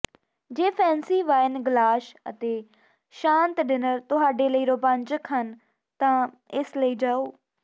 ਜੇ fancy wine glass ਅਤੇ ਸ਼ਾਂਤ ਡਿਨਰ ਤੁਹਾਡੇ ਲਈ ਰੋਮਾਂਚਕ ਹਨ ਤਾਂ ਇਸ ਲਈ ਜਾਓ